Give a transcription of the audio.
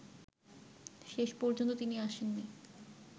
শেষ পর্যন্ত তিনি আসেননি